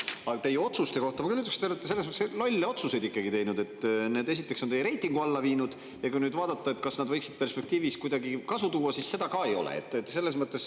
Aga teie otsuste kohta ma küll ütleks, et te olete teinud ikkagi selles mõttes lolle otsuseid, et need on teie reitingu alla viinud, ja kui nüüd vaadata, kas need võiksid perspektiivis kuidagi kasu tuua, siis seda ka ei ole.